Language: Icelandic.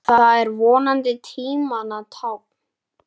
Það er vonandi tímanna tákn.